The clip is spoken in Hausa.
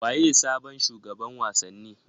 Waye sabon shugaban wasanni